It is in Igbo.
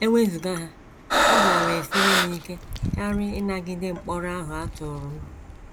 E wezụga ha, ọ gaara esiri m ike karị ịnagide mkpọrọ ahụ a tụrụ m.